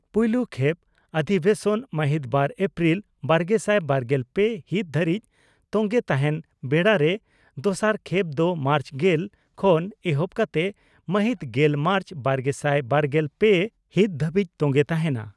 ᱯᱩᱭᱞᱩ ᱠᱷᱮᱯ ᱚᱫᱷᱤᱵᱮᱥᱚᱱ ᱢᱟᱦᱤᱛ ᱵᱟᱨ ᱮᱯᱨᱤᱞ ᱵᱟᱨᱜᱮᱥᱟᱭ ᱵᱟᱨᱜᱮᱞ ᱯᱮ ᱦᱤᱛ ᱫᱷᱟᱹᱨᱤᱡ ᱛᱚᱝᱜᱮ ᱛᱟᱦᱮᱸᱱ ᱵᱮᱲᱟᱨᱮ ᱫᱚᱥᱟᱨ ᱠᱷᱮᱯ ᱫᱚ ᱢᱟᱨᱪ ᱜᱮᱞ ᱠᱷᱚᱱ ᱮᱦᱚᱵ ᱠᱟᱛᱮ ᱢᱟᱦᱤᱛ ᱜᱮᱞ ᱢᱟᱨᱪ ᱵᱟᱨᱜᱮᱥᱟᱭ ᱵᱟᱨᱜᱮᱞ ᱯᱮ ᱦᱤᱛ ᱫᱷᱟᱹᱵᱤᱡ ᱛᱚᱝᱜᱮ ᱛᱟᱦᱮᱸᱱᱟ ᱾